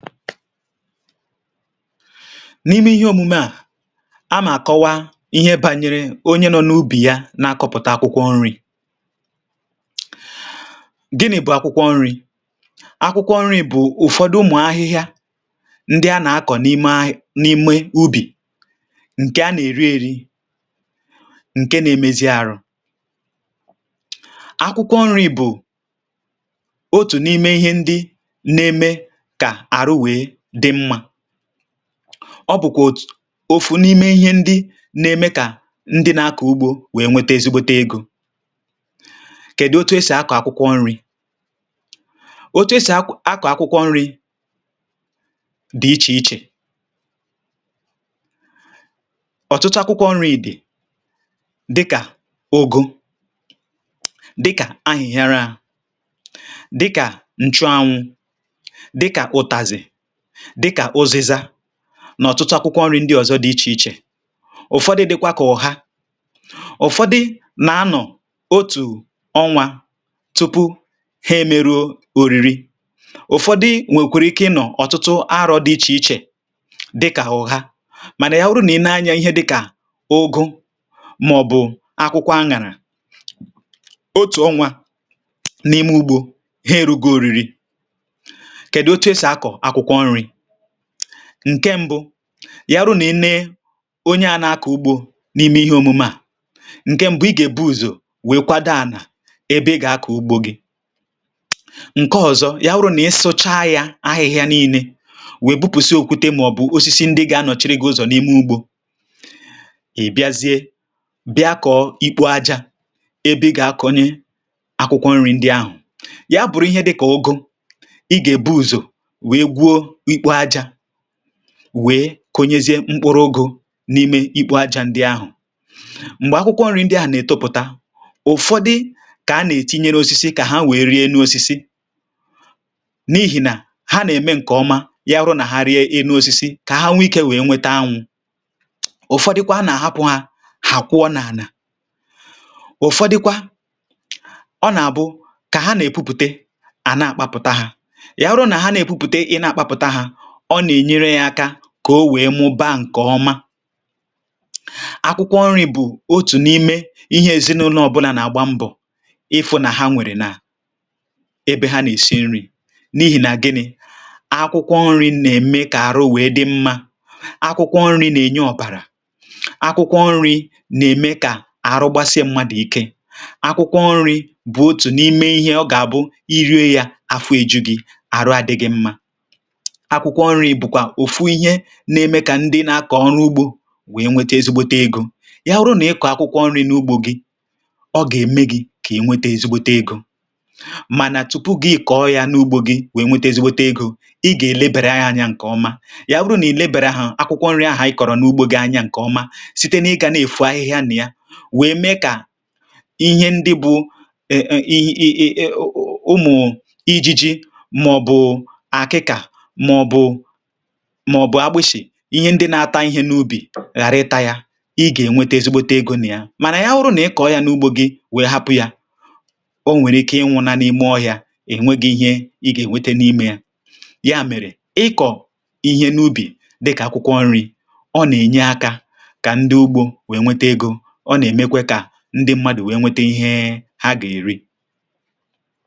N’ime ihe omume a, onye na-akọwa na-ekwu maka otu onye nọ n’ubì ya na-akọ̀pụ̀ta akwụkwọ nri̇ Gịnị bụ̀ akwụkwọ nri̇? Akwụkwọ nri̇ bụ̀ ụfọdụ ụdị ahịhịa ndị a na-akụ n’ala ubi, a na-erikwa ha dịka nri̇. um Ha na-enyere ahụ mmadụ aka, ma na-eme ka ahụ dị ike. Akwụkwọ nri̇ bụ otu n’ime ihe ndị na-eme ka ahụ nwee ume, ma ọ bụkwa otu n’ime ihe ndị na-enyere ndị na-akụ̀ ubi inweta ezigbo ego. Ugbu a, kedụ̀ ka a ga-esi kụọ akwụkwọ nri̇? Enwere ụzọ dị iche iche esi akụ̀ akwụkwọ nri̇. Enwere ọtụtụ ụdị akwụkwọ nri̇, dịka ọgbọ ahịnyerė, na nchụ anwụ̇, tinyere ụdị ndị ọzọ dị iche iche. Ụfọdụ akwụkwọ nri̇ na-eto ngwa ngwa, ebe ụfọdụ na-ewe ogologo oge, um dịka otu ọnwa tupu ha adị njikere ịkụ̀pụ̀ta. Ụfọdụ na-ewe ọtụtụ izu, mana nke ahụ dabere n’ụdị akwụkwọ nri̇ na otu e si akùpụ̀ta ya. Tupu ị kụọ akwụkwọ nri̇, onye ugbo ga-ebido site n’ịkwadebe ala. Nke a gụnyere ị sachapụ̀ ọhịa na iwepụ̀ ahịhịa, tinyere iwepụ̀ nkume ma ọ bụ osisi ndị nwere ike igbochi ebe e gà-akụ̀ akwụkwọ nri̇. Mgbe e mechara sachapụ̀ ala ahụ̀, onye ugbo na-eme obere ndukwu ma ọ bụ akara n’ala, wee tinye mkpụrụ akwụkwọ nri̇ dịka mkpụrụ ọgbọ n’ime ndukwu ndị ahụ̀. Mgbe akwụkwọ nri̇ malitere ịtọpụ̀ta, ụfọdụ na-enye ya nkwado site n’iji osisi pere mpe ka o nwee ike ịrị̀ elu wee nweta ọkụ̀ anwụ̇. Ụfọdụ na-ahapụ̀ ya ka o gbasapụ̀ n’ala n’enweghị nkwado. Ụfọdụ akwụkwọ nri̇ na-akụ̀ iji ha nwee ike ịrị̀ n’osisi ma ọ bụ n’ụlọ̀ mgbidi, ka o wee mụba nke ọma. Akwụkwọ nri̇ bụ otu n’ime nri ndị ezinụlọ ọ bụla na-achọ ka ha nwee n’ụlọ̀ ha, n’ihi na ha na-eme ka ahụ dị ike ma dị mma. Ha na-enyere ịmịpụta ọ̀bara, na-enye ume n’ahụ mmadụ. Ọ bụrụ na mmadụ anaghị eri akwụkwọ nri̇, um ahụ ya na-ada ike, ma nke a nwere ike ibute ọrịa ma ọ bụ agụụ adịghị. Ndị na-akụ̀ ubi anaghị akụ̀ akwụkwọ nri̇ naanị maka iri, kamakwa iji nweta ezigbo ego. Mgbe ị kụ̀ụrụ akwụkwọ nri̇ n’ugbò gị, ọ na-enyere gị aka inweta ezigbo ego. Ma tupu ị nweta ezigbo ego, ị ga-elekọta akwụkwọ nri̇ gị nke ọma. Ị ga na-eleba anya otu ha si eto, sachapụ̀ ahịhịa mgbe niile, ma hụ̀ na ụma anụmanụ ma ọ bụ ihe ndị na-ata akwụkwọ nri̇ adịghị emebi ya. Ọ bụrụ na ị na-elekọta akwụkwọ nri̇ gị nke ọma, ị gà-enweta ezigbo ego n’aka ya. Ma ọ bụrụ na ị kụọ̀ ya wee hapụ̀ ya n’ime ọhịa, ọ nwere ike ịkụ̀pụ̀ta ma nwụọ. Ya mere, ọ dị mkpa ị na-elekọta akwụkwọ nri̇ gị nke ọma. Ịkụ̀ akwụkwọ nri̇ bụ ezi omume, n’ihi na ọ na-enyere ndị ugbo aka inweta ego, ma na-enyekwa ezinụlọ nri ha ga-eri.